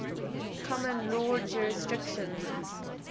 common law jurisdictions